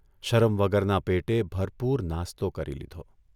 શરમ વગરના પેટે ભરપુર નાસ્તો કરી લીધો.